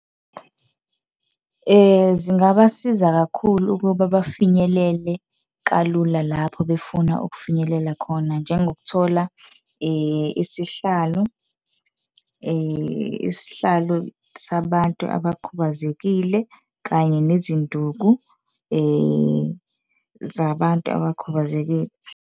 Zingabasiza kakhulu ukuba bafinyelele kalula lapho befuna ukufinyelela khona, njengokuthola isihlalo, isihlalo sabantu abakhubazekile, kanye nezinduku zabantu abakhubazekile.